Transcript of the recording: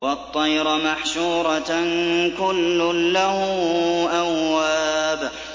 وَالطَّيْرَ مَحْشُورَةً ۖ كُلٌّ لَّهُ أَوَّابٌ